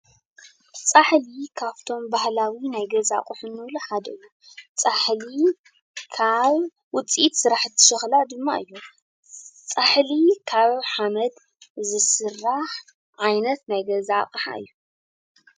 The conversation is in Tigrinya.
ፃሕሊ ካፍቶም ባህላዊ ናይ ገዛ አቁሑ ንብሎ ሓደ እዩ፣ ፃሕሊ ካብ ውፅኢት ስራሕቲ ሸኽላ ድማ እዩ፣ ፃሕሊ ካብ ሓመድ ዝስራሕ ዓይነት ናይ ገዛ አቅሓ እዩ ።